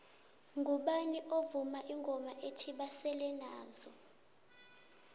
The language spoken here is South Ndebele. mgubani ovuma ingoma ethi basele nazo